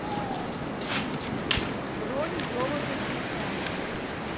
бронь золото дисконт